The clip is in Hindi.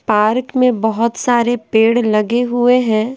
पार्क में बहुत सारे पेड़ लगे हुए हैं।